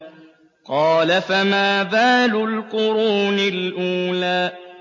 قَالَ فَمَا بَالُ الْقُرُونِ الْأُولَىٰ